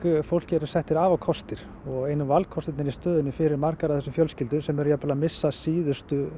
fólki eru settir afarkostir og einu valkostirnir í stöðunni fyrir margar af þessum fjölskyldum sem eru jafnvel að missa síðustu